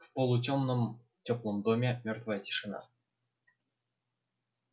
в полутёмном тёплом доме мёртвая тишина